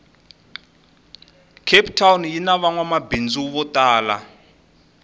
cape town yinavangwamabhindzu votala